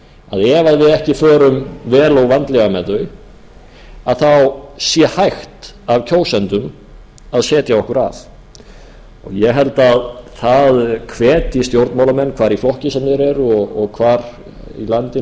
að ef við ekki förum vel og vandlega með þau sé hægt af kjósendum að setja okkur af ég held að það hvetji stjórnmálamenn hvar í flokki sem þeir eru og hvar í landinu sem